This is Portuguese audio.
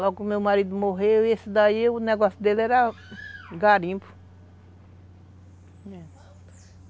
Logo, o meu marido morreu e esse daí, o negócio dele era garimpo.